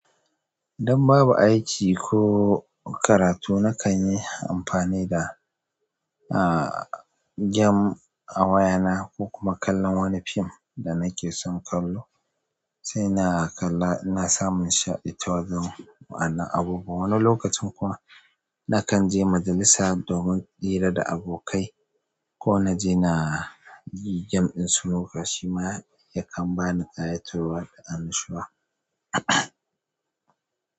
Dan babu aiki ko karatu, nakan yi amfani da, ah, game a wayana ko kuma kallon wani film da nake son kallo, sai na kalla. Na samu nishaɗi ta wajen wa'anan abubuwa. Wani lokacin kuma nakan je majalisa domin hira da abokai ko na je na yi game ɗin snooker. Shi ma yakan ba ni ƙayatarwa da annashuwa.